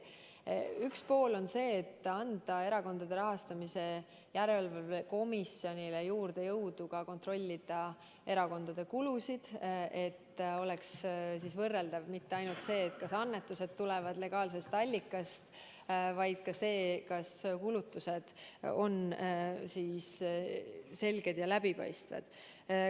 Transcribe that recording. Üks võimalus on anda Erakondade Rahastamise Järelevalve Komisjonile juurde jõudu kontrollida erakondade kulusid: et poleks kontrollitav mitte ainult see, kas annetused tulevad legaalsest allikast, vaid ka see, kas kulutused on selged ja läbipaistvad.